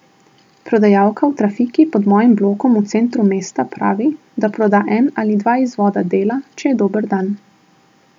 Prodajalka v trafiki pod mojim blokom v centru mesta pravi, da proda en ali dva izvoda Dela, če je dober dan.